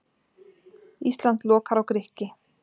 Ísland lokar á Grikki